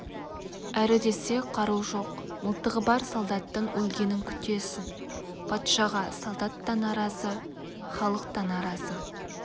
әрі десе қару жоқ мылтығы бар солдаттың өлгенін күтесің патшаға солдат та наразы халық та наразы